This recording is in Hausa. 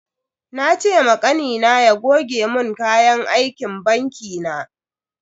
Na ce ma Kanina ya goge mun kayan aikin banki na.